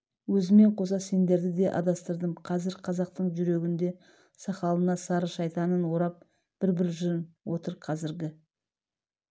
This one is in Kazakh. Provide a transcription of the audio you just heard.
өзіммен қоса сендерді де адастырдым қазір қазақтың жүрегінде сақалына сары шайтанын орап бір-бір жын отыр қазіргі